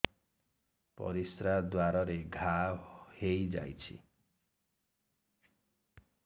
ପରିଶ୍ରା ଦ୍ୱାର ରେ ଘା ହେଇଯାଇଛି